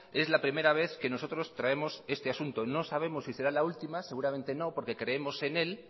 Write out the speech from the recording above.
es la primera vez que nosotros traemos este asunto y no sabemos si será la última seguramente no porque creemos en él